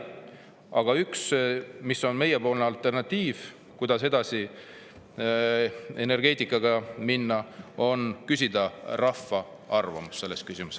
Aga meie pakutav alternatiiv, kuidas energeetikaga edasi minna, on küsida rahva arvamust selles küsimuses.